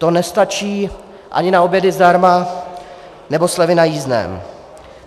To nestačí ani na obědy zdarma nebo slevy na jízdném.